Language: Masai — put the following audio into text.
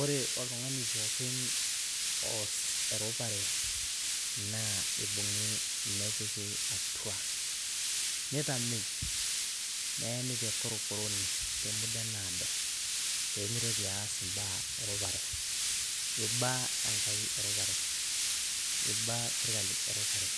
ore oltungani pookin oos erupare naa eibung'i nepiki atua. neitamei, neeni tekorokoroni temuda naado. pee mitoki aas imbaa erupare. eiba enkai erupare, eiba sirkali erupare,